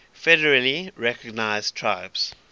federally recognized tribes